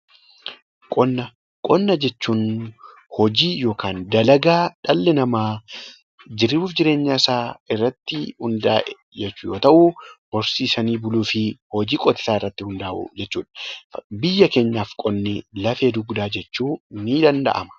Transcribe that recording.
Qonna jechuun hojii yookiin dalagaa dhalli namaa jiruu fi jireenyi isaa irratti hundaa'e jechuu yoo ta'u, horsiisanii buluu fi hojii qotisaa irratti hundaa'uu jechuudha. Biyya keenyaaf qonni lafee dugdaadha jechuun ni danda'ama.